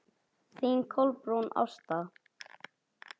Þín Kolbrún Ásta.